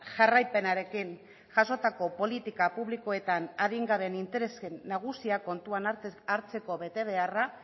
jarraipenarekin jasotako politika publikoetan adingabeen interesen nagusia kontuan hartzeko betebeharra